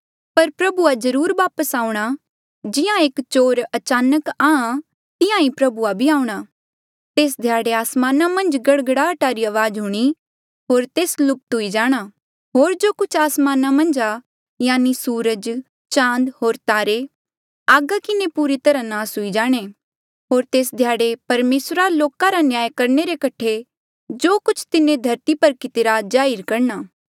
पर प्रभुआ जरुर वापस आऊंणा जिहां एक चोर अचानक आं तिहां ही प्रभुआ भी आऊंणा तेस ध्याड़े आसमाना मन्झ गड़गड़ाहटा री अवाज हूणीं होर तेस लुप्त हुई जाणा होर जो कुछ आसमाना मन्झ आ यानि सूरज चाँद होर तारे आगा किन्हें पूरी तरहा नास हुई जाणे होर तेस ध्याड़े परमेसरा लोका रा न्याय करणे रे कठे जो कुछ तिन्हें धरती पर कितिरा जाहिर करणा